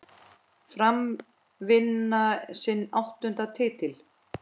Fram vann sinn áttunda titil.